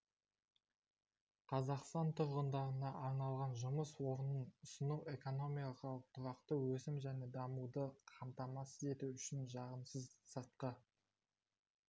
қазақстан тұрғындарына арналған жұмыс орнын ұсыну экономикалық тұрақты өсім мен дамуды қамтамасыз ету үшін жағымсыз сыртқы